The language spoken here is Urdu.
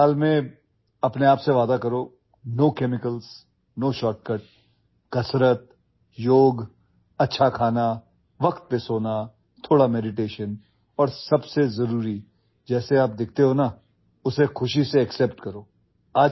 اس نئے سال میں، اپنے آپ سے وعدہ کریں... کوئی کیمیکل نہیں، کوئی شارٹ کٹ ورزش نہیں، یوگا، اچھی غذا ، وقت پر سونا، کچھ مراقبہ اور سب سے اہم بات، آپ جس طرح نظر آتے ہیں اسے خوشی سے قبول کریں